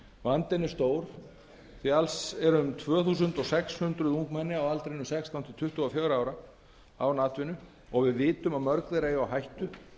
vandinn er stór því alls eru um tvö þúsund sex hundruð ungmenni á aldrinum sextán til tuttugu og fjögurra ára án atvinnu og við vitum að mörg þeirra eiga á hættu